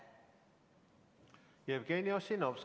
Jevgeni Ossinovski, palun!